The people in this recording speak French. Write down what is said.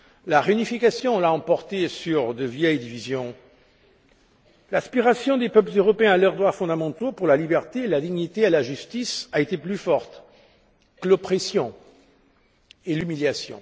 La réunification l'a emporté sur de vieilles divisions. L'aspiration des peuples européens à leurs droits fondamentaux à la liberté, à la dignité et à la justice a été plus forte que l'oppression et l'humiliation.